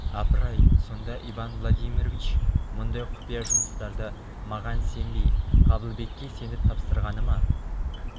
апыр-ай сонда иван владимирович мұндай құпия жұмыстарды маған сенбей қабылбекке сеніп тапсырғаны ма